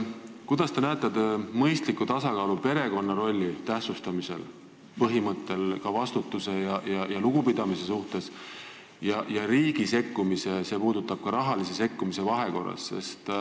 Kuidas te näete mõistlikku tasakaalu perekonna rolli tähtsustamise põhimõtte ja riigi sekkumise vahel?